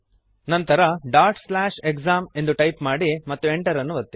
ನಂತರ exam dot slash exam ಎಂದು type ಮಾಡಿ ಮತ್ತು Enter ಅನ್ನು ಒತ್ತಿರಿ